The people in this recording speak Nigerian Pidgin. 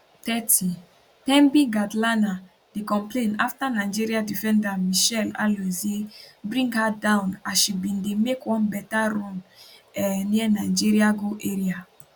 30 thembi kgatlana dey complain afta nigeria defender mitchelle alozie bring her down as she bin dey make one beta run um near nigeria goal area